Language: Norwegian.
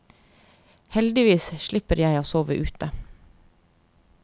Heldigvis slipper jeg å sove ute.